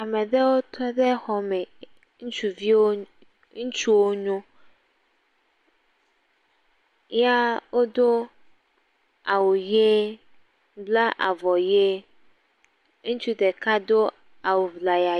Ame aɖewo tɔ ɖe xɔme, ŋutsuvi wo, ŋutsu wonyo ya wodo awu ʋi bla avɔ ʋie. Ŋutsu ɖeka do awu ŋlaya.